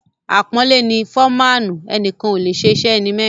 Àpọ́nlé ni ‘‘Fọ́maànù’’; ẹnìkan ò lè ṣe iṣẹ́ ẹni mẹ́rin.